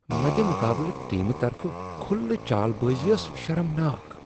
مدِمقابلہٕ ٹیمہٕ طرفہٕ کھلہٕ چال بٲزی ٲس شرمناک۔